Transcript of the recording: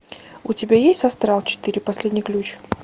у тебя есть астрал четыре последний ключ